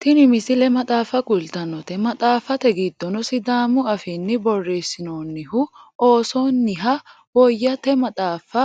tini misile maxaaffa kultannote maxaaffate giddono sidaamu afiinni borreessinoonnihu oosonniha woyyote maxaafa